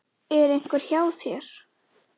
Er einhver hjá þér?